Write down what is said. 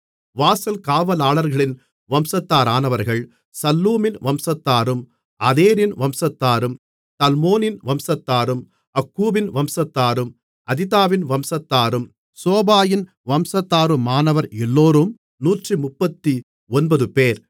வாசல் காவலாளர்களின் வம்சத்தாரானவர்கள் சல்லூமின் வம்சத்தாரும் அதேரின் வம்சத்தாரும் தல்மோனின் வம்சத்தாரும் அக்கூபின் வம்சத்தாரும் அதிதாவின் வம்சத்தாரும் சோபாயின் வம்சத்தாருமானவர் எல்லோரும் 139 பேர்